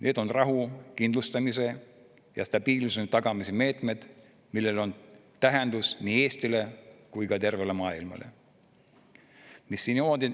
Need on rahu kindlustamise ja stabiilsuse tagamise meetmed, millel on tähendus nii Eestile kui tervele maailmale.